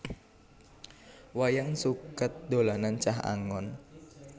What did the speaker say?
Wayang suket dolanan cah angon